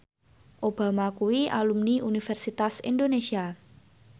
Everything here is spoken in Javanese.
Obama kuwi alumni Universitas Indonesia